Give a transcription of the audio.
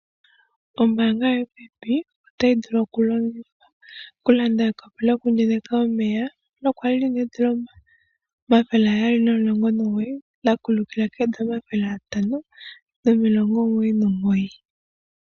Ombaanga yo FNB otayi vulu oku landa ekopi lyoku yenyeka omeya nokwali lina $719 la kulukila $599.